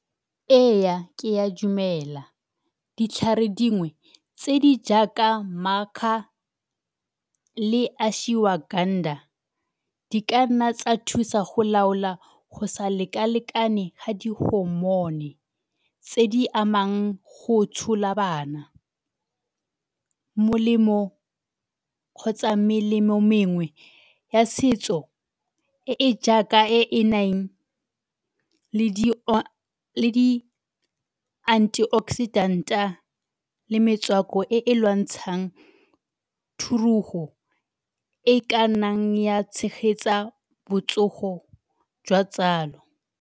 Ee, ke a dumela ditlhare dingwe tse di jaaka le di ka nna tsa thusa go laola go sa lekalekane ga di tse di amang go tshola bana. Molemo kgotsa melemo mengwe ya setso e e jaaka e e nang le di antioxidant-a le metswako e e lwantshang thurugo e ka nnang ya tshegetsa botsogo jwa tsalo.